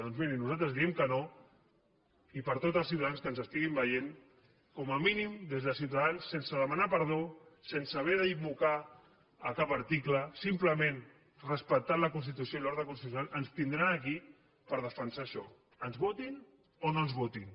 doncs miri nosaltres diem que no i per a tots els ciutadans que ens estiguin veient com a mínim des de ciutadans sense demanar perdó sense haver d’invocar cap article simplement respectant la constitució i l’ordre constitucional ens tindran aquí per defensar això ens votin o no ens votin